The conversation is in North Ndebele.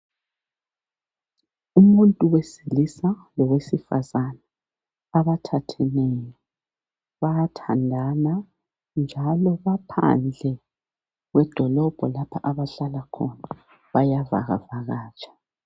Umuntu wesilisa lowesifazana abathatheneyo bayathandana njalo baphandle kwedolobho lapha abahlala khona bayavakavakatsha.